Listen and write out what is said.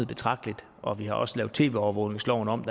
betragteligt og vi har også lavet tv overvågningsloven om